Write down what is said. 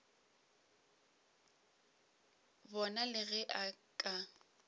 bona le ge a ka